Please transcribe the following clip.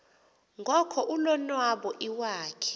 ngoko ulonwabo iwakhe